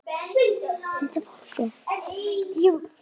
Vildi ég fara?